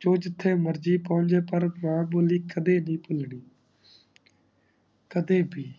ਜੋ ਜਿਤੇ ਮਰਜ਼ੀ ਪਢ਼ ਲਿਯਾ ਪਰ ਕਿਯਾ ਬੋਲਿਖ ਦੀਦੀ ਤੂ ਬਾਰੀ ਕਦੇ ਬੀ